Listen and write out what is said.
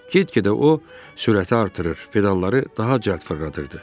Get-gedə o sürəti artırır, pedalları daha cəld fırladırdı.